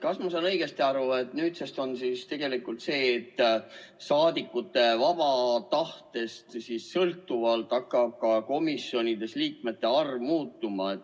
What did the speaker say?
Kas ma saan õigesti aru, et nüüdsest on tegelikult nii, et saadikute vabast tahtest sõltuvalt hakkab komisjonides liikmete arv muutuma?